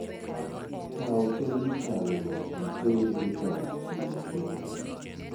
Kaw kemikalgo iter e kar timo nonro.